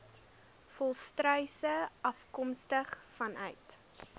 volstruise afkomstig vanuit